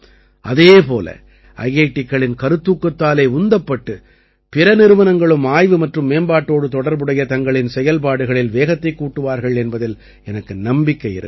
அதே போல ஐஐடிக்களின் கருத்தூக்கத்தாலே உந்தப்பட்டு பிற நிறுவனங்களும் ஆய்வு மற்றும் மேம்பாட்டோடு தொடர்புடைய தங்களின் செயல்பாடுகளில் வேகத்தைக் கூட்டுவார்கள் என்பதில் எனக்கு நம்பிக்கை இருக்கிறது